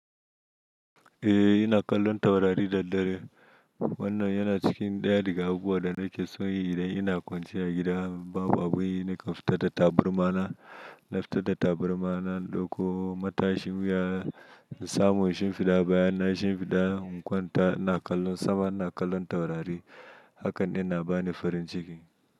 Eh ina kallon taurari da dare. Wannan yana cikin ɗaya daga abubuwan da nake so yi idan ina kwanciya gida, babu abu ina ka fita da taburma na, na fita da taburma na, in ɗauko matashin wuya, in samu in shimfiɗa baya na, in shimfiɗa in kwanta ina kallon sama, ina kallon taurari. Hakan yana bani farin ciki.